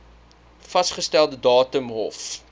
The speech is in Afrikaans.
vasgestelde datum hof